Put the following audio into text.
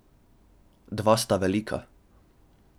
Dva sta velika.